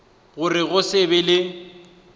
gore go se be le